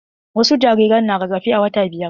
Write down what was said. Wasu jariran na rarafe a wata biyar.